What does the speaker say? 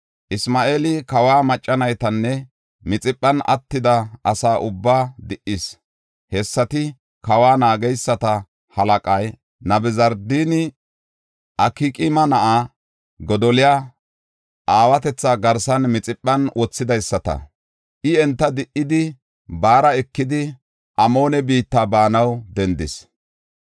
Isma7eeli kawa macca naytanne Mixiphan attida asa ubbaa di77is. Hessati kawa naageysata halaqay Nabuzardaani Akqaama na7aa Godoliya aawatetha garsan Mixiphan wothidaysata. I enta di77idi, baara ekidi, Amoone biitta baanaw dendis.